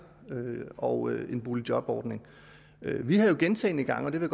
og en boligjobordning vi har jo gentagne gange og det vil